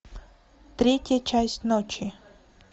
третья часть ночи